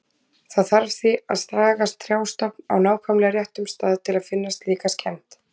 Það þarf því að saga trjástofn á nákvæmlega réttum stað til að finna slíka skemmd.